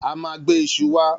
A ma gbe iṣu wá